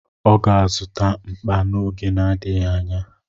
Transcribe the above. Ọ ga-azụta mkpa n'oge n'adịghị anya.